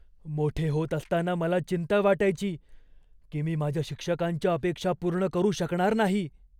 मोठे होत असताना मला चिंता वाटायची की मी माझ्या शिक्षकांच्या अपेक्षा पूर्ण करू शकणार नाही.